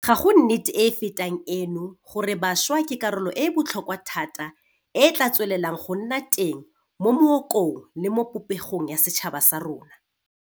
Ga go nnete e e fetang eno gore bašwa ke karolo e e botlhokwa thata e e tla tswelelang go nna teng mo mookong le mo popegong ya setšhaba sa rona.